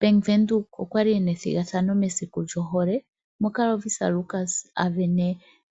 Bank Windhoek okwali ena ethigathano mesiku lyohole. Moka Lovisa Lukas a sindana